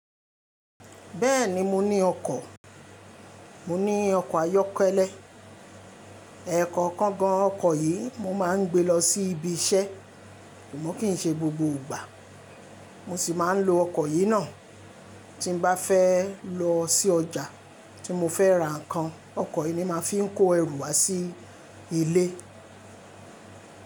Béèni mo ní okò mo ní okò ayókélé. Ẹ̀ẹ̀kọ̀kan gan-an ọkọ̀ yìí mo máa ń gbé lọ sí ibi iṣẹ́, amo kì í ṣe gbogbo ìgbà. Mo sì máa ń lo ọkọ̀ yìí náà tí n bá fẹ́ lọ sí ọjà tí mo fẹ́ ra nǹkan. Ọkọ̀ yìí ni màá fi ń kó ẹrù wá sí ilé.